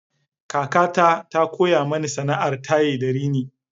Kakata ta koya mani sana'ar taye da rini.